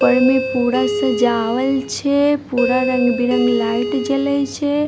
ऊपर में पूरा सजावल छै पूरा रंग-बिरंग लाइट जलए छै।